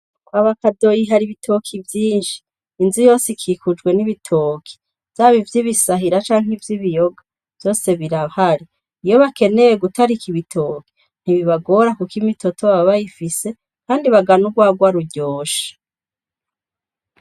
Kwaba Kadoyi, hari ibitoki vyinshi; inzu yose ikikujwe n'ibitoki, vyaba ivy'ibisahira canke nk’ivy’ibiyoga, vyose birahari. Iyo bakeneye gutarika ibitoki, ntibibagora, kuko imitoto baba bayifise kandi bagana urwarwa ruryoshe.